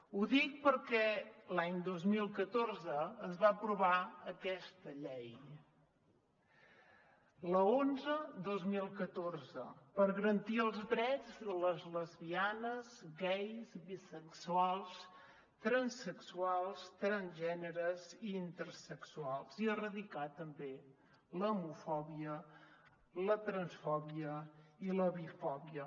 ho dic perquè l’any dos mil catorze es va aprovar aquesta llei l’onze dos mil catorze per garantir els drets de les lesbianes gais bisexuals transsexuals transgèneres i intersexuals i erradicar també l’homofòbia la transfòbia i la bifòbia